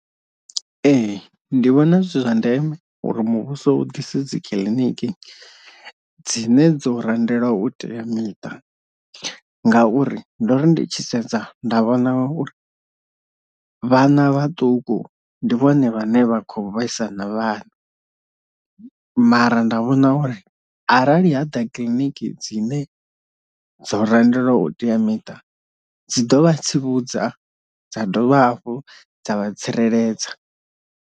Ee ndi vhona zwi zwa ndeme uri muvhuso u ḓise dzi kiḽiniki dzine dzo randelwa u teamiṱa, ngauri ndo ri ndi tshi sedza nda vhona uri vhana vhaṱuku ndi vhone vhane vha khou vhesa na vhana, mara nda vhona uri arali ha ḓa kiḽiniki dzine dzo randelwa u teamiṱa dzi ḓo vha tsivhudza dza dovha hafhu dza vha tsireledza.